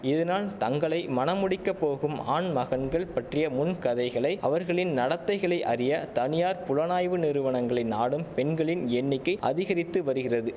இதனால் தங்களை மணமுடிக்கப் போகும் ஆண்மகன்கள் பற்றிய முன்கதைகளை அவர்களின் நடத்தைகளை அறிய தனியார் புலனாய்வு நிறுவனங்களை நாடும் பெண்களின் எண்ணிக்கை அதிகரித்து வரிகிறது